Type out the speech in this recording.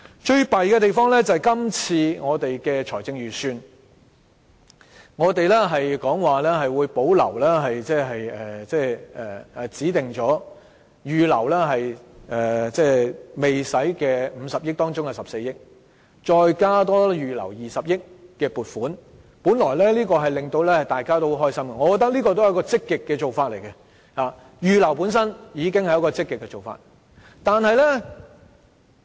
最糟糕的是，這次財政預算案會保留已預留但未動用的50億元中的14億元，再多加預留20億元的撥款，本來這應該令大家很開心，我覺得這也是積極的做法，預留款項本身已經是積極的做法。